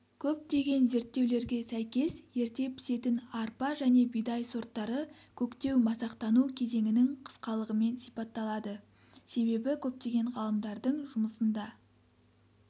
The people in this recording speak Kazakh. көптеген зерттеулерге сәйкес ерте пісетін арпа және бидай сорттары көктеу-масақтану кезеңінің қысқалығымен сипатталады себебі көптеген ғалымдардың жұмысында